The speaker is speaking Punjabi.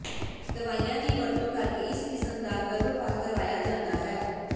ਦਵਾਈਆਂ ਦੀ ਵਰਤੋਂ ਕਰਕੇ ਇਸ ਕਿਸਮ ਦਾ ਗਰਭਪਾਤ ਕਰਵਾਇਆ ਜਾਂਦਾ ਹੈ